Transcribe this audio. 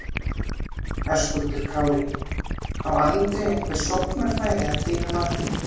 Höskuldur Kári: Á Andri einhver sóknarfæri að þínu mati?